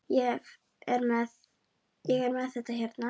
Ég er með þetta hérna.